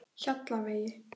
Hjallavegi